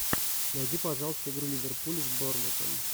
найди пожалуйста игру ливерпуля с бормутом